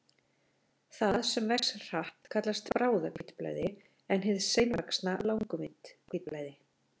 Það sem vex hratt kallast bráðahvítblæði en hið seinvaxna langvinnt hvítblæði.